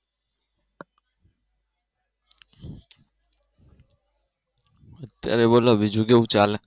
ત્યારે બોલો બીજું કેવું ચાલે